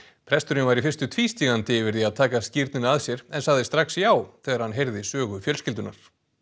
presturinn var í fyrstu tvístígandi yfir því að taka skírnina að sér en sagði strax já þegar hann heyrði sögu fjölskyldunnar